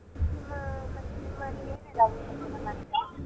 ಮತ್ತೆ ನಿಮ್ಮಲ್ಲಿ ಏನೆಲ್ಲ .